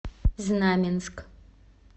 знаменск